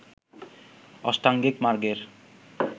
অষ্টাঙ্গিক মার্গের